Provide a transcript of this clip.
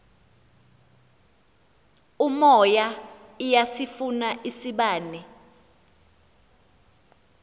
umoya iyasifuna isibane